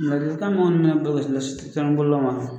Ladilikan min bɛ ne bolo ka sin telimaninbololilaw ma